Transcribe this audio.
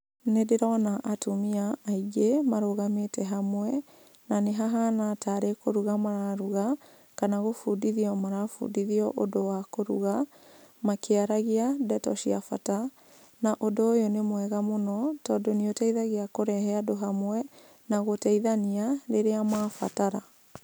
Nĩ ndĩrona atumia aingĩ marũgamĩte hamwe na nĩ hahana tarĩ kũruga mararuga kana gũbundithio marabundithio ũndũ wa kũruga makĩaragia ndeto cia bata, na ũndũ ũyũ nĩ wa bata mũno tondũ nĩ ũteithagia kũrehe andũ hamwe na gũteithania rĩrĩa mabatara.